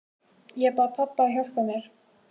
Ég bað pabba að hjálpa mér.